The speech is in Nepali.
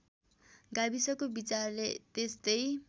गाविसको विचारले त्यस्तै